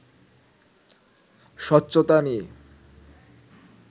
স্বচ্ছতা নিয়ে